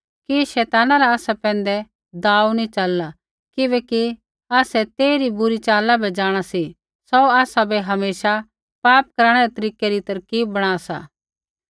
कि शैताना रा आसा पैंधै दाव नी च़लला किबैकि आसै तेइरी बुरी च़ाला बै ज़ांणा सी सौ आसाबै हमेशा पाप कराणै रै तरीकै री तरकीब बणा सा